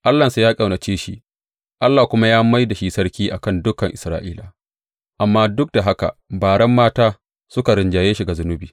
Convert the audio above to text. Allahnsa ya ƙaunace shi, Allah kuma ya mai da shi sarki a kan dukan Isra’ila, amma duk da haka baren mata suka rinjaye shi ga zunubi.